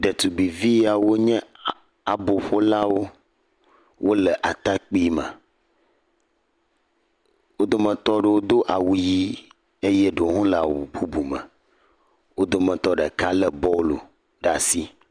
Ɖetugbe vi wo nye abo ƒo lãwo wo le atã kpui me wo ɖo me tɔ aɖewo do awu ɣi eye ɖewo le awu bubu me wo dometɔ ɖeka le bɔlu le asi.